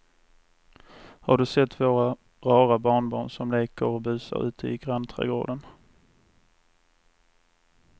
Har du sett våra rara barnbarn som leker och busar ute i grannträdgården!